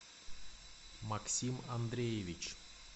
максим андреевич